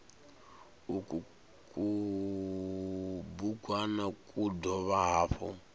uku kubugwana ku dovha hafhu